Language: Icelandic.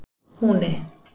Húni